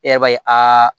E b'a ye aa